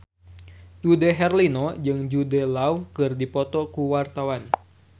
Dude Herlino jeung Jude Law keur dipoto ku wartawan